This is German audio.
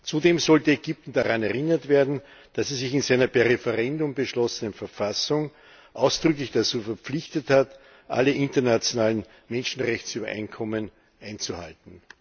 Zudem sollte Ägypten daran erinnert werden, dass es sich in seiner per Referendum beschlossenen Verfassung ausdrücklich dazu verpflichtet hat, alle internationalen Menschenrechtsübereinkommen einzuhalten.